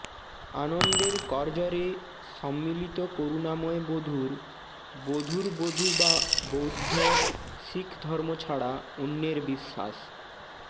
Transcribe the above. আনন্দের করজরে সম্মিলিত করুণাময় বধূর বধূর বধূ বা বৌদ্ধ শিখ ধর্ম ছাড়া অন্যের বিশ্বাস